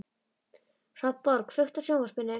Hrafnborg, kveiktu á sjónvarpinu.